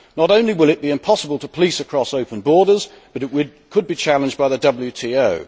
Not only will it be impossible to police across open borders, but it could be challenged by the WTO.